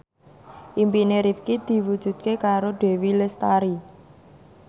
impine Rifqi diwujudke karo Dewi Lestari